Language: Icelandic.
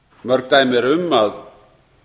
mörg dæmi eru um að